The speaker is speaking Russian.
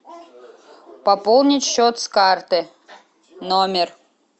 пополнить счет с карты номер